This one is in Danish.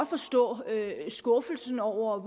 forstå skuffelsen over